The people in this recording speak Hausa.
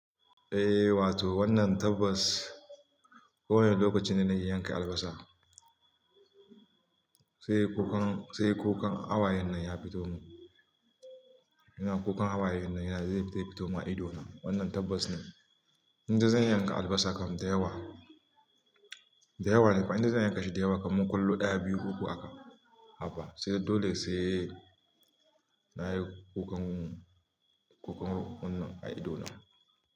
Eh wato wannan tabbas ko wane lokacin da na yi yanka albasa, sai kukan, sai kukan hawayen nan ya fito mun. Ina kukan hawayen nan yana zai fito mun a ido na. Wannan tabbas ne. Inda zan yanka albasa kam da yawa, da yawa ne kuma inda zan yanka shi da yawa kamar kullu ɗaya, biyu, uku haka, hapa sai dole sai nayi kukan, kukan wannan a ido na.